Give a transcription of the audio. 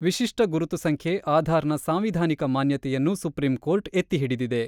ವಿಶಿಷ್ಟ ಗುರುತು ಸಂಖ್ಯೆ-ಆಧಾರ್‌ನ ಸಾಂವಿಧಾನಿಕ ಮಾನ್ಯತೆಯನ್ನು ಸುಪ್ರೀಂ ಕೋರ್ಟ್ ಎತ್ತಿ ಹಿಡಿದಿದೆ.